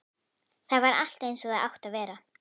Þar var allt einsog það átti að vera.